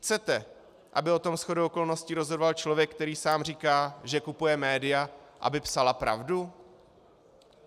Chcete, aby o tom shodou okolností rozhodoval člověk, který sám říká, že kupuje média, aby psala pravdu?